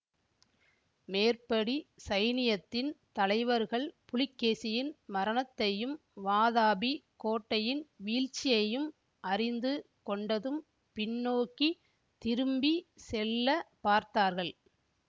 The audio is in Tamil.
மேற்படி சைனியத்தின் தலைவர்கள் புலிகேசியின் மரணத்தையும் வாதாபிக் கோட்டையின் வீழ்ச்சியையும் அறிந்து கொண்டதும் பின்னோக்கித் திரும்பி செல்ல பார்த்தார்கள்